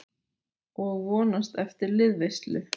Og vonast eftir liðveislu.